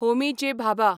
Homi J. Bhabha